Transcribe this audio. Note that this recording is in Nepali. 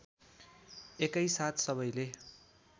एकैसाथ सबैले